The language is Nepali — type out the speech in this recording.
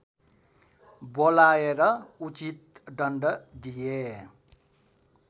बोलाएर उचित दण्ड दिए